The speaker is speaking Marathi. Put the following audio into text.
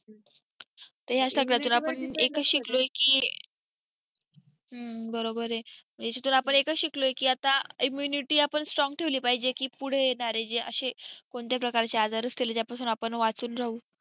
ते असा की आता एकच शिकलोय की बरोबर आहे ह्याच्यातून आपण एकच शिकलोय की आता immunity आपण strong ठेविली पाहिजे की पुढे येणारे जे आशे कोणते प्रकारचे आजार असतील ज्या पासून आपण वाचून राहू